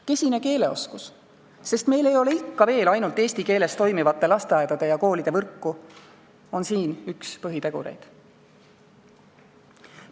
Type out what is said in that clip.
Kesine keeleoskus – meil ei ole ikka veel ainult eesti keeles toimivate lasteaedade ja koolide võrku – on siin üks põhitegureid.